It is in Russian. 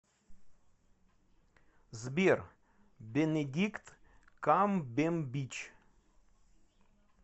сбер бенедикт камбембич